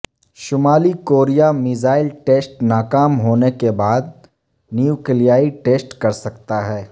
شمالی Korea missile test ناکام ہونے کے بعد نیوکلیائی ٹیسٹ کر سکتا ہے